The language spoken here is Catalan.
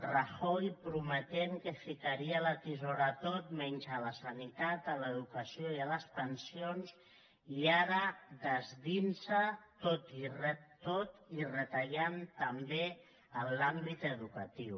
rajoy prometent que ficaria la tisora a tot menys a la sanitat a l’educació i a les pensions i ara desdient se’n tot i retallar també en l’àmbit educatiu